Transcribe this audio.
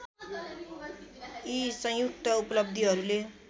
यि सङ्युक्त उपलब्धिहरूले